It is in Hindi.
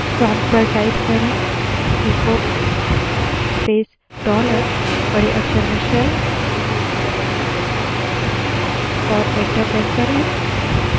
prompt पर बड़े अक्षर में echo space dollar shell type करें और enter दबायें